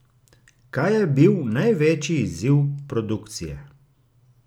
Kaj je bil največji izziv produkcije?